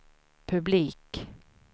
publik